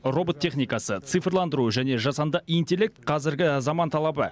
робот техникасы цифрландыру және жасанды интеллект қазіргі заман талабы